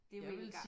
Det ville